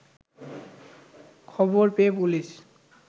খবর পেয়ে পুলিশ